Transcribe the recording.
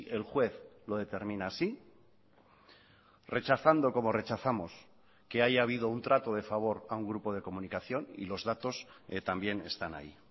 el juez lo determina así rechazando como rechazamos que haya habido un trato de favor a un grupo de comunicación y los datos también están ahí